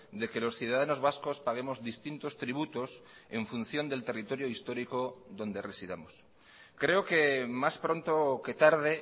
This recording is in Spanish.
de que los ciudadanos vascos paguemos distintos tributos en función del territorio histórico donde residamos creo que más pronto que tarde